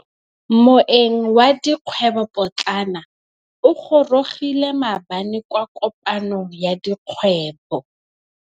Moêng wa dikgwêbô pôtlana o gorogile maabane kwa kopanong ya dikgwêbô.